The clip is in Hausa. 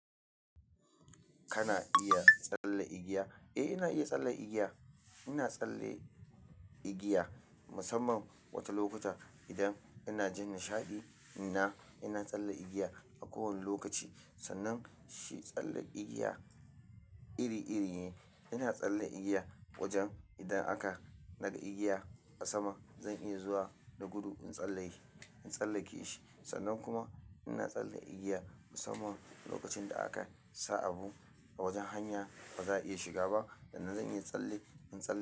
Kana iya tsalle igiya? Eh, ina iya tsalle igiya. Ina tsalle igiya musamman wata lokuta idan ina jin nishaɗi. Ina, ina tsalle igiya a kowane lokaci. Sannan shi tsalle igiya iri iri ne. Ina tsalle igiya wajen idan aka daga igiya a sama, zan iya zuwa da gudu in tsalleke shi, in tsallake shi. Sannan kuma ina tsalle igiya musamman lokacin da aka sa abu a wajen hanya baza a iya shiga ba. Sannan zan iya tsalle, in tsalle.